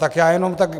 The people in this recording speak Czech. Tak já jenom tak...